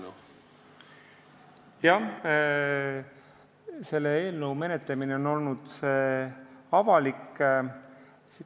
Jah, selle eelnõu menetlemine on olnud avalik.